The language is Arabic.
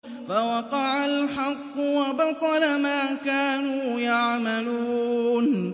فَوَقَعَ الْحَقُّ وَبَطَلَ مَا كَانُوا يَعْمَلُونَ